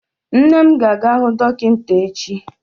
Nne m ga-aga hụ dọkịta echi.